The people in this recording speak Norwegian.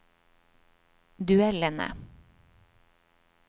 duellene